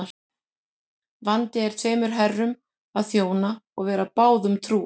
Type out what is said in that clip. Vandi er tveimur herrum að þjóna og vera báðum trúr.